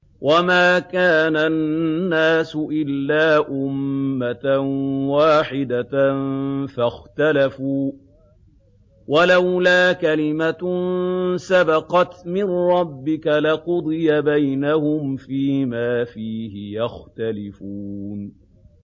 وَمَا كَانَ النَّاسُ إِلَّا أُمَّةً وَاحِدَةً فَاخْتَلَفُوا ۚ وَلَوْلَا كَلِمَةٌ سَبَقَتْ مِن رَّبِّكَ لَقُضِيَ بَيْنَهُمْ فِيمَا فِيهِ يَخْتَلِفُونَ